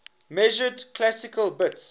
measured classical bits